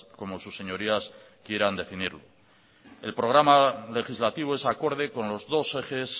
como sus señorías quieran definirlo el programa legislativo es acorde con los dos ejes